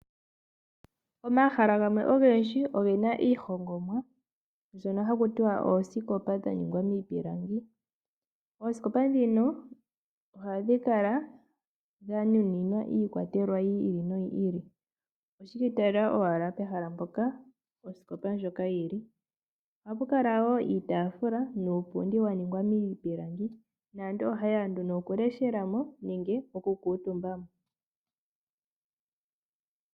Omahala gamwe ogendji ogena iihongomwa mbyoka haku tiwa oosikopa dha ningwamiipilangi. Oosikopa ndhika ohadhi kala dhanuninwa iikwatelwa yili noyi ili. Oshi ikwatelela owala pehala mpoka osikopa ndjoka yili. Ohapu kala wo iitaafula nuupundi waningwa miipilangi naantu oha yeya nduno okuleshela mo nenge okukutumba.